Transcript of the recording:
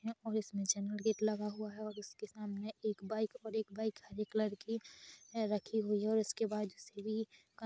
और इसमें channel gate लगा हुआ है और उसके सामने एक बाइक और एक बाइक हरे कलर की रखी हुई है और इसके बाजु से भी--